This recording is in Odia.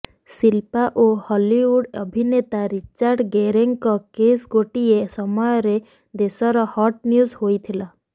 ଶିଲ୍ପା ଓ ହଲିଉଡ ଅଭିନେତା ରିଚାର୍ଡ ଗେରେଙ୍କ କିସ୍ ଗୋଟିଏ ସମୟରେ ଦେଶର ହଟ୍ ନ୍ୟୁଜ୍ ହୋଇଥିଲା